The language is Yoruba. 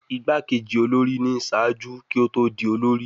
Igbakeji olori ni ṣaaju ki o to di olori